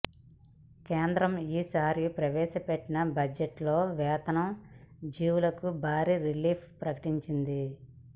కేంద్ర ఈసారి ప్రవేశపెట్టిన బడ్జెట్ లో వేతన జీవులకు భారీ రిలీఫ్ ప్రకటించింది